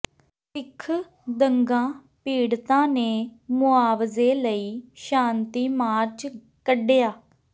ਸਿੱਖ ਦੰਗਾ ਪੀੜਤਾਂ ਨੇ ਮੁਆਵਜ਼ੇ ਲਈ ਸ਼ਾਂਤੀ ਮਾਰਚ ਕੱਢਿਆ